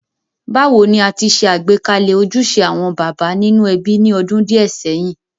Bàwoni a ti se àgbékalẹ̀ ojúse àwon bàbá nínú ebí ni odún díẹ̀ séyìn.?